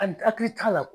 A hakili t'a la